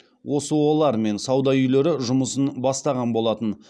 осо лар мен сауда үйлері жұмысын бастаған болатын